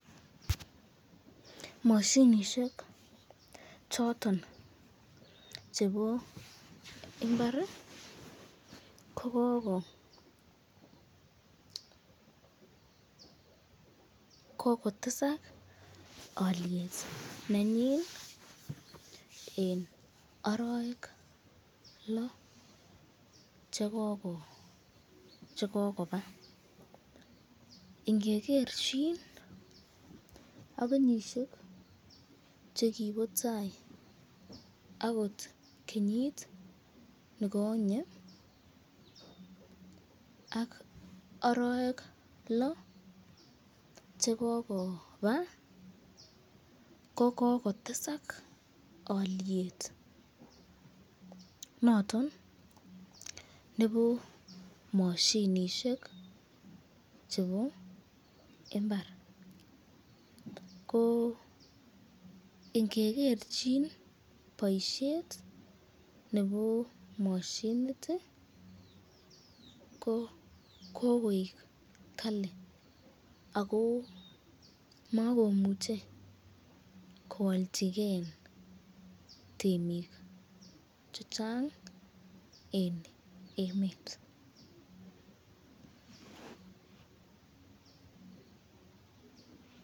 Mashinishek choton chebo imbar ko kotesak olyet nenyin eng araek loo chekokoba, ingegerchin ak kenyishek chekibo tai akot kenyit nekonye ak araek loo chekokoba ko kotesak olyet noton nebo mashinishek chebo imbar, ko ingegerchin boisyet nebo mashinit ko kokoek kali ako makomuche koalchiken temik chechang eng emet.